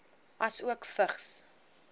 asook vigs